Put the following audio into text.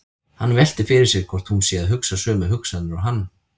Hann veltir fyrir sér hvort hún sé að hugsa sömu hugsanir og hann.